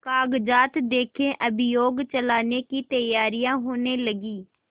कागजात देखें अभियोग चलाने की तैयारियॉँ होने लगीं